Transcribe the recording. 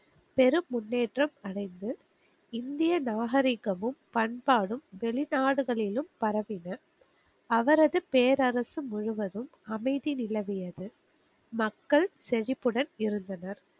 பெரும் முன்னேற்றம் அடைந்து இந்திய நாகரிகமும் பண்பாடும் வெளிநாடுகளிலும் பரவின. அவரது பேரரசு முழுவதும் அமைதி நிலவியது. மக்கள் செழிப்புடன் இருந்தனர்.